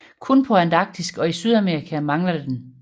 Kun på Antarktis og i Sydamerika mangler den